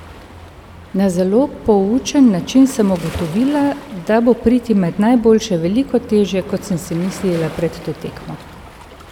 Na zelo poučen način sem ugotovila, da bo priti med najboljše veliko težje, ko sem si mislila pred to tekmo.